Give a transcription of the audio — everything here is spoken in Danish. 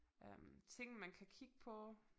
Øh ting man kan kigge på